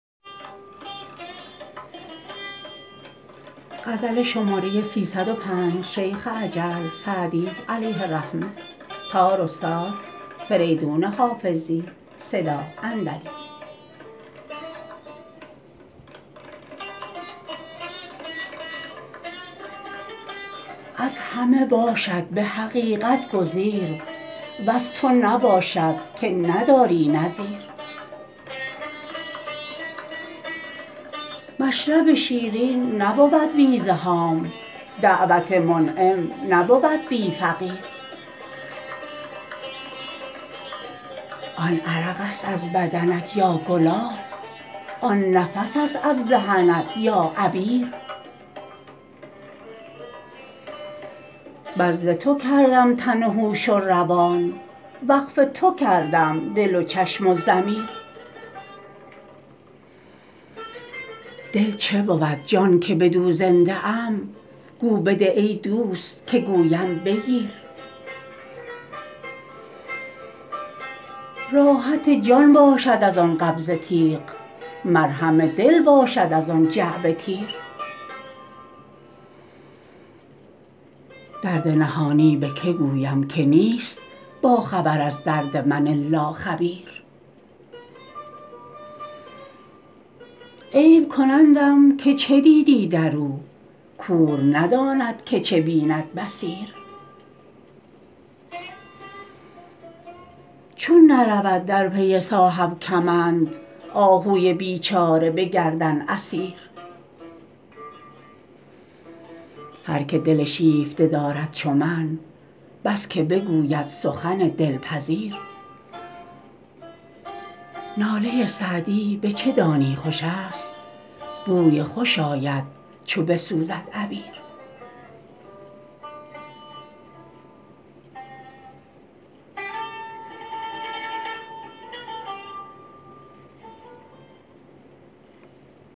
از همه باشد به حقیقت گزیر وز تو نباشد که نداری نظیر مشرب شیرین نبود بی زحام دعوت منعم نبود بی فقیر آن عرق است از بدنت یا گلاب آن نفس است از دهنت یا عبیر بذل تو کردم تن و هوش و روان وقف تو کردم دل و چشم و ضمیر دل چه بود جان که بدو زنده ام گو بده ای دوست که گویم بگیر راحت جان باشد از آن قبضه تیغ مرهم دل باشد از آن جعبه تیر درد نهانی به که گویم که نیست باخبر از درد من الا خبیر عیب کنندم که چه دیدی در او کور نداند که چه بیند بصیر چون نرود در پی صاحب کمند آهوی بیچاره به گردن اسیر هر که دل شیفته دارد چو من بس که بگوید سخن دلپذیر ناله سعدی به چه دانی خوش است بوی خوش آید چو بسوزد عبیر